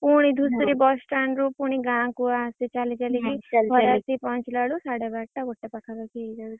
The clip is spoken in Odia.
ପୁଣି ଧୁସୁରୀ bus stand ଗାଁ କୁ ଆସେ ଚାଲି ଚାଲି କି ଖରା ରେ। ଘରେ ଆସି ପହଂଚିଲା ବେଳକୁ ସାଢ଼େ ବାରଟା ଗୋଟେ ପାଖା ପାଖୀ ହେଇଯାଉଛି।